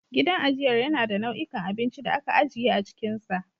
Gidan ajiyar yana da nau'ikan abinci da aka ajiye a cikinsa.